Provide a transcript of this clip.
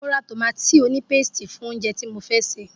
Mo ra tòmátì onípésìtì fún oúnjẹ tí mo fẹ́ sè.